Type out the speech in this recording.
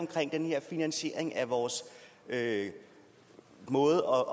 finansiering af vores måde